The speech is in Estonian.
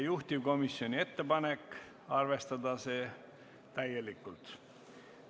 Juhtivkomisjoni ettepanek on arvestada seda täielikult.